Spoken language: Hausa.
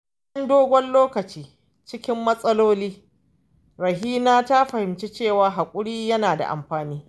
Bayan dogon lokaci cikin matsaloli, Rahina ta fahimci cewa hakuri yana da amfani.